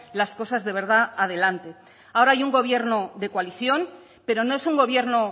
las cosas de verdad adelante ahora hay un gobierno de coalición pero no es un gobierno